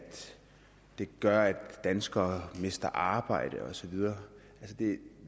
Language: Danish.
det gør at danskere mister arbejde og så videre det